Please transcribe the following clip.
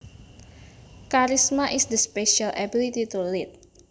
Charisma is the special ability to lead